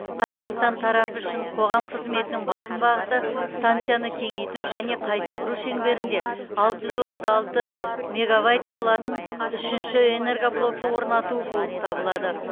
қазақстан тарапы үшін қоғам қызметінің басым бағыты станцияны кеңейту және қайта құру шеңберінде алты жүз отыз алты мегабайт болатын үшінші энергоблокты орнату болып табылады